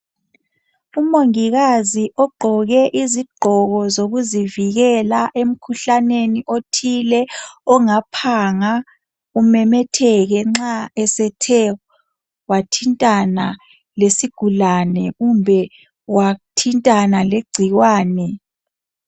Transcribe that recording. Umongikazi ogqoke izigqoko zokuzivikela emkhuhlaneni othile ongaphanga umemetheke nxa esethe wathintana lesigulane kumbe wathintana legcikwane